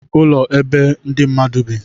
ụlọ bụ ebe ndị mmadụ bi